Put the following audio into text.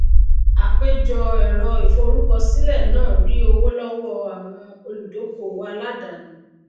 àpéjọ èrọ ìforúkọ sílè náà rí owó lówó àwọn olùdókówò aládàáni